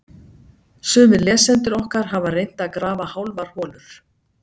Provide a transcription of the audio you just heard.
Sumir lesendur okkar hafa reynt að grafa hálfar holur.